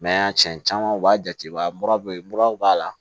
cɛn caman u b'a jate mura be muraw b'a la